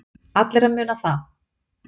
Allir að muna það.